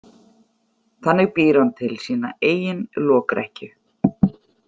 Þannig býr hann til sína eigin lokrekkju.